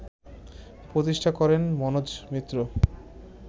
প্রতিষ্ঠা করেন মনোজ মিত্র